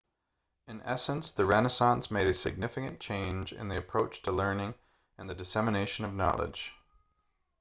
in essence the renaissance made a significant change in the approach to learning and the dissemination of knowledge